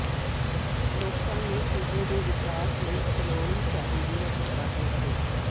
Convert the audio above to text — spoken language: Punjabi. ਲੋਕਾਂ ਨੂੰ ਸੂਬੇ ਦੇ ਵਿਕਾਸ ਲਈ ਅਪਣਾਉਣੀ ਚਾਹੀਦੀ ਹੈ ਸਕਾਰਾਤਮਕ ਸੋਚ